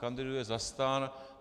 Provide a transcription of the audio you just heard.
Kandiduje za STAN.